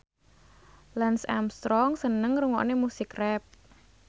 Lance Armstrong seneng ngrungokne musik rap